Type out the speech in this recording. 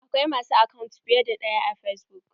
Akwai ma su akant fiye da ɗaya a fesbuk.